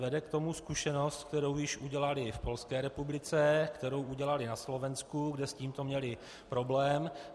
Vede k tomu zkušenost, kterou již udělali v Polské republice, kterou udělali na Slovensku, kde s tímto měli problém.